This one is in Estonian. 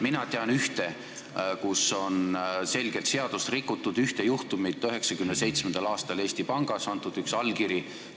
Mina tean ühte juhtumit, kus on selgelt seadust rikutud: 1997. aastal anti Eesti Pangas üks allkiri.